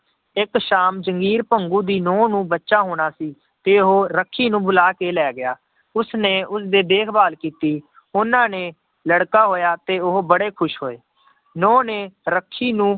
ਇੱਕ ਸ਼ਾਮ ਜੰਗੀਰ ਭੰਗੂ ਦੀ ਨਹੁੰ ਨੂੰ ਬੱਚਾ ਹੋਣਾ ਸੀ ਤੇ ਉਹ ਰੱਖੀ ਨੂੰ ਬੁਲਾ ਕੇ ਲੈ ਗਿਆ, ਉਸਨੇ ਉਸਦੇ ਦੇਖਭਾਲ ਕੀਤੀ, ਉਹਨਾਂ ਨੇ ਲੜਕਾ ਹੋਇਆ ਤੇ ਉਹ ਬੜੇ ਖ਼ੁਸ਼ ਹੋਏ ਨਹੁੰ ਨੇ ਰੱਖੀ ਨੂੰ